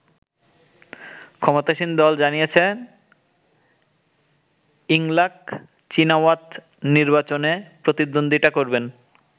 ক্ষমতাসীন দল জানিয়েছে ইংলাক চীনাওয়াত নির্বাচনে প্রতিদ্বন্দ্বিতা করবেন।